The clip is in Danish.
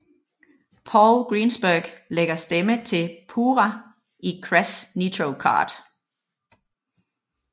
Paul Greenberg lægger stemme til Pura i Crash Nitro Kart